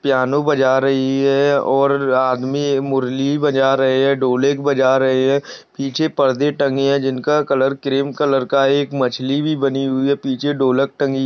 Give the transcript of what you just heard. piano बजा रही है और आदमी एक मुरली बजा रहे है ढोलक बजा रहे है पीछे परदे टंगे है जिनका कलर क्रीम कलर का है एक मछली भी बनी हुई है पीछे ढोलक टंगी --